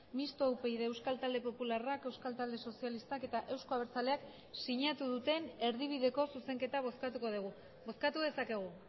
mistoa upyd euskal talde popularrak euskal talde sozialistak eta euzko abertzaleak sinatu duten erdibideko zuzenketa bozkatuko dugu bozkatu dezakegu